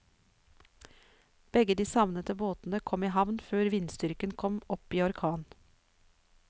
Begge de savnede båtene kom i havn før vindstyrken kom opp i orkan.